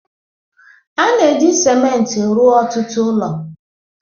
A na-eji ciment rụọ ọtụtụ ụlọ